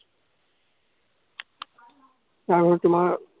তোমাৰ